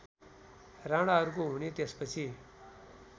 राणाहरूको हुने त्यसपछि